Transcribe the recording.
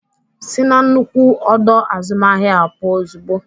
Sị na nnukwu ọdọ azụmahịa ahụ pụọ ozugbo!